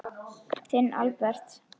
Þinn Albert.